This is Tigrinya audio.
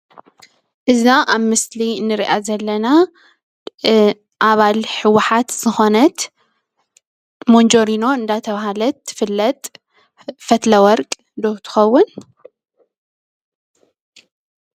እዛ ኣብ ምስሊ እንሪኣ ዘለና ኣባል ህወሓት ዝኾነት መንጀሪኖ እንዳተባህለት ትፍለጥ፡፡ ፈትለወርቅ ዶ ትኸውን?